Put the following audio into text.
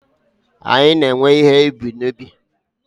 anyị na-ewe ihe ubi n'ubi